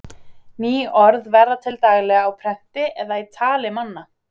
ný orð verða til daglega á prenti eða í tali manna